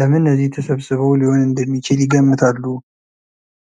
ለምን እዚህ ተሰብስበው ሊሆን እንደሚችል ይገምታሉ?